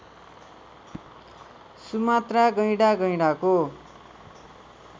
Sumatra गैंडा गैंडाको